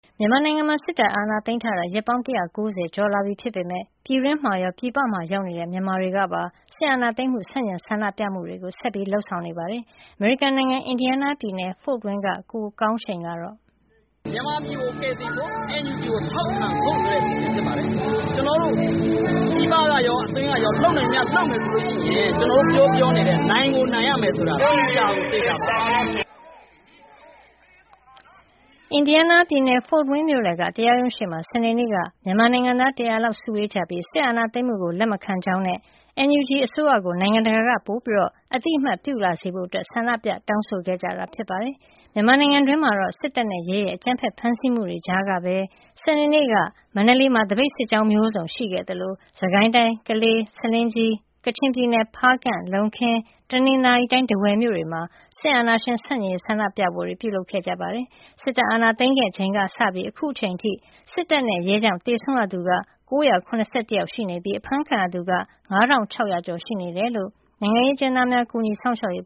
မြန်မာနိုင်ငံမှာ စစ်တပ်အာဏာသိမ်းထားတာ ရက်ပေါင်း ၁၉၀ ကျော်လာပြီ ဖြစ်ပေမယ့် ပြည်တွင်းမှာရော ပြည်ပမှာရောက်နေတဲ့ မြန်မာတွေကပါ စစ်အာဏာသိမ်းမှု ဆန့်ကျင်ဆန္ဒပြမှုတွေကို ဆက်လက် လုပ်ဆောင်နေကြပါတယ်။ "မြန်မာပြည်ကို ကယ်တင်ဖို့ NUG ကို ထောက်ခံဖို့ ဆန္ဒပြကြခြင်း ဖြစ်ပါတယ်။ ကျနော်တို့ ပြည်ပကရော အတွင်းကရော လုပ်နိုင်သမျှ လုပ်မယ် ဆိုလို့ရှိရင် ကျနော်တို့ ပြောပြောနေတဲ့ နိုင်ကိုနိုင်ရမယ် ဆိုတာ သေချာပါတယ်။ " အမေရိကန်ရောက် မြန်မာ တက်ကြွလှုပ်ရှားသူ ကိုကောင်းရှိန်ပါ။ အင်ဒီယားနားပြည်နယ် ဖို့ဝိန်းမြို့လယ်က တရားရုံးရှေ့မှာ စနေနေ့က မြန်မာ့ အရေး လှုပ်ရှားသူ ၁၀၀ လောက် စုဝေးကြပြီး စစ်အာဏာသိမ်းမှုကို လက်မခံကြောင်းနဲ့ NUG အမျိုးသား ညီညွတ်ရေး အစိုးရကို နိုင်ငံတကာက ပိုပြီး အသိအမှတ် ပြုလာစေဖို့ ဆန္ဒပြတောင်းဆို ခဲ့ကြတာ ဖြစ်ပါတယ်။ မြန်မာနိုင်ငံတွင်းမှာတော့ စစ်တပ်နဲ့ရဲရဲ့ အကြမ်းဖက်ဖမ်းဆီးမှုတွေကြားကပဲ စနေနေ့က မန္တလေးမှာ သပိတ်စစ်ကြောင်းမျိုးစုံရှိခဲ့သလို စစ်ကိုင်းတိုင်း ကလေး၊ ဆားလင်းကြီး၊ ကချင်ပြည်နယ် ဖားကန့်၊ လုံးခင်၊ တနင်္သာရီတိုင်း ထားဝယ်မြို့တွေမှာ စစ်အာဏာရှင် ဆန့်ကျင်ရေး ဆန္ဒပြပွဲတွေ ပြုလုပ်ခဲ့ကြပါတယ်။ စစ်တပ်အာဏာသိမ်းခဲ့ချိန်ကစပြီး အခုအချိန်အထိ စစ်တပ်နဲ့ရဲကြောင့် သေဆုံးရသူ ၉၇၁ ယောက်ရှိနေပြီး အဖမ်းခံရသူက ၅၆၀၀ ကျော် ရှိနေတယ်လို့ နိုင်ငံရေးအကျဉ်းသားများ ကူညီစောင့်ရှောက်ရေး